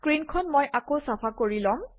স্ক্ৰীনখন মই আকৌ চাফা কৰি লম